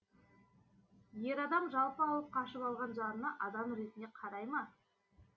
ер адам жалпы алып қашып алған жарына адам ретінде қарай ма